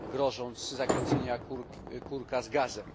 grożąc zakręceniem kurka z gazem.